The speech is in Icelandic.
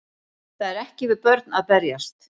Það er ekki við börn að berjast